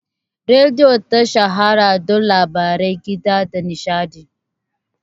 Rediyo ta shahara don labarai, kiɗa, da nishaɗi